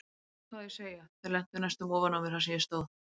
Hvað á ég að segja, þau lentu næstum ofan á mér þar sem ég stóð.